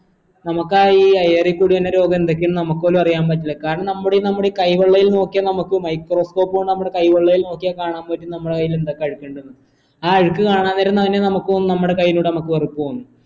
നമ്മക്കാ യീ air ഇ കൂടി വരണ രോഗ എന്തെക്കെയാണ് നമ്മുക്ക് പോലും അറിയാൻ പറ്റില്ല കാരണം നമ്മുടെ ഈ നമ്മുടെ ഈ കൈ വള്ളയിൽ നോക്കിയാൽ നമുക്ക് microscope കൊണ്ട് നമ്മടെ കൈ വെള്ളയിൽ നോക്കിയാൽ കാണാൻ പറ്റും നമ്മടെ കൈയിൽ എന്തൊക്കെ അഴുക്ക് ഇണ്ടെന്ന് ആ അഴുക്ക് കാണാതിരുന്നയിനെ നമുക് തോന്നും നമ്മുടെ കയ്യോട് നമുക് വെറുപ്പ് തോന്നും